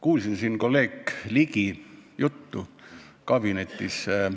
Kuulasin kolleeg Ligi juttu kabinetis olles.